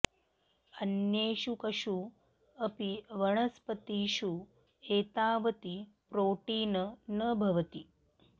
अन्येषु कषु अपि वनस्पतिषु एतावति प्रोटीन न भवति